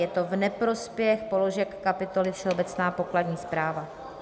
Je to v neprospěch položek kapitoly Všeobecná pokladní správa.